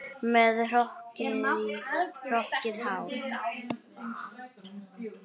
Með hrokkið hár.